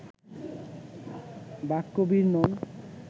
বাক্যবীর নন